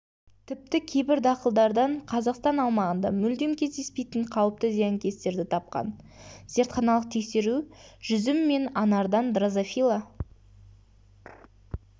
тіпті кейбір дақылдардан қазақстан аумағында мүлдем кездеспейтін қауіпті зиянкестерді тапқан зертханалық тексеру жүзім мен анардан дрозофила